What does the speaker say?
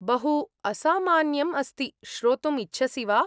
बहु असामान्यम् अस्ति, श्रोतुम् इच्छसि वा?